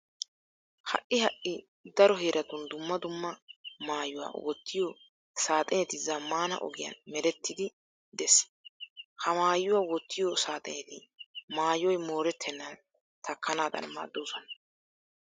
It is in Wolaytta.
Ha"i ha"i daro heeratun dumma dumma maayuwa wottiyo saaxineti zammaana ogiyan merettiiddi de'ees. Ha maayuwa wottiyo saaxineti maayoy moorettennan takkanaadan maaddoosona.